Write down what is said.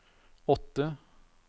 åtte